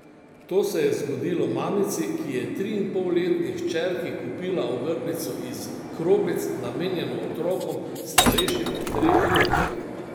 To se je zgodilo mamici, ki je triinpolletni hčerki kupila ogrlico iz kroglic, namenjeno otrokom, starejšim od treh let.